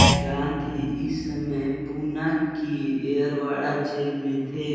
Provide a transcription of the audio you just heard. गाँधी इस समय पूना की येरवडा जेल में थे